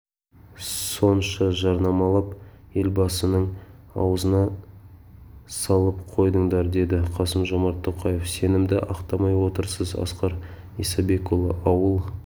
сонша жарнамалап елбасының аузына салып қойдыңдар деді қасым-жомарт тоқаев сенімді ақтамай отырсыз асқар исабекұлы ауыл